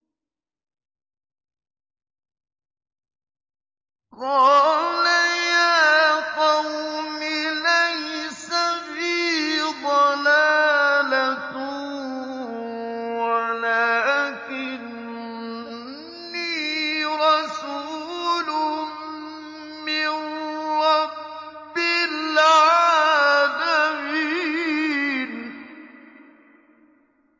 قَالَ يَا قَوْمِ لَيْسَ بِي ضَلَالَةٌ وَلَٰكِنِّي رَسُولٌ مِّن رَّبِّ الْعَالَمِينَ